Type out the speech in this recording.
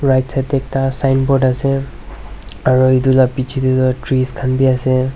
right side te ekta signboard ase aru etu laga piche te tu trees khan bhi ase.